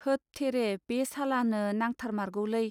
होत थेरे बे सालानो नांथारमारगौलै.